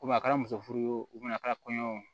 Komi a kɛra muso furu ye wo a kɛra kɔɲɔ ye